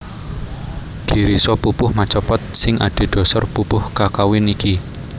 Girisa pupuh macapat sing adhedhasar pupuh kakawin iki